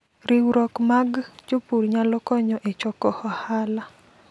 Riwruok mag jopur nyalo konyo e choko ohala.